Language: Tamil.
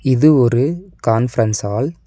இது ஒரு கான்ஃபரன்ஸ் ஹால் .